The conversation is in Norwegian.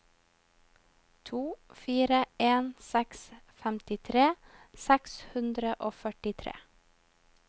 to fire en seks femtitre seks hundre og førtitre